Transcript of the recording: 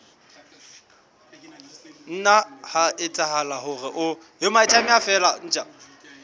nna ha etsahala hore o